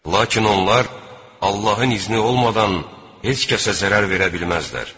Lakin onlar Allahın izni olmadan heç kəsə zərər verə bilməzdilər.